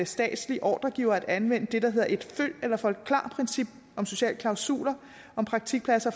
statslige ordregivere at anvende det der hedder et følg eller forklar princip om sociale klausuler om praktikpladser